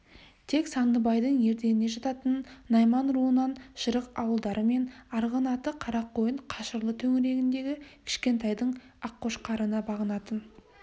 тек сандыбайдың ерденіне жататын найман руынан жырық ауылдары мен арғынаты қарақойын қашырлы төңірегіндегі кішкентайдың аққошқарына бағынатын